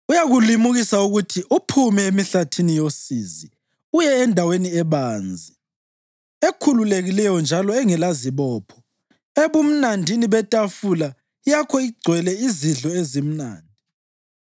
Uyakulimukisa ukuthi uphume emihlathini yosizi uye endaweni ebanzi, ekhululekileyo njalo engelazibopho, ebumnandini betafula yakho igcwele izidlo ezimnandi.